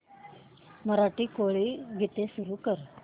मराठी कोळी गीते सुरू कर